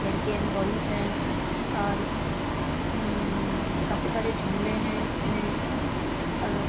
लड़कियाँ and boys हैं अ हम्म काफी सारे झूले हैं इसमें अर --